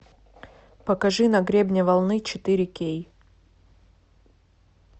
покажи на гребне волны четыре кей